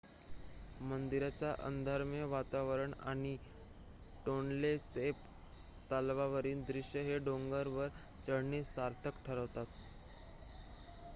मंदिराचे अंधारमय वातावरण आणि टोनले सॅप तलावावरील दृश्य हे डोंगरावर चढणे सार्थक ठरवतात